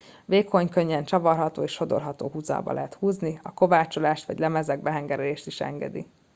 vékony könnyen csavarható és sodorható huzalba lehet húzni a kovácsolást vagy lemezekbe hengerelést is engedi